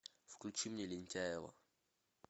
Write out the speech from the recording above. включи мне лентяево